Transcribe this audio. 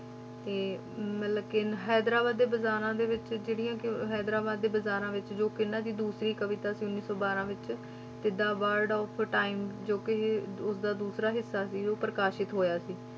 ਤੇ ਮਤਲਬ ਕਿ ਇੰਨ~ ਹੈਦਰਾਬਾਦ ਦੇ ਬਾਜ਼ਾਰਾਂ ਵਿੱਚ ਜਿਹੜੀਆਂ ਕਿ ਹੈਦਰਾਬਾਦ ਦੇ ਬਾਜ਼ਾਰਾਂ ਵਿੱਚ ਜੋ ਕਿ ਇਹਨਾਂ ਦੀ ਦੂਸਰੀ ਕਵਿਤਾ ਸੀ ਉੱਨੀ ਸੌ ਬਾਰਾਂ ਵਿੱਚ, ਜਿੱਦਾਂ word of time ਜੋ ਕਿ ਉਸਦਾ ਦੂਸਰਾ ਹਿੱਸਾ ਸੀ, ਉਹ ਪ੍ਰਕਾਸ਼ਿਤ ਹੋਇਆ ਸੀ।